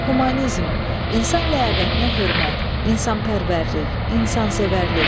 Humanizm, insan ləyaqətinə hörmət, insanpərvərlik, insansevərlik.